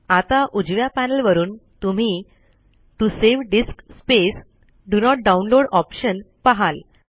आता उजव्या पॅनल वरून तुम्ही to save disk space do not download option पहाल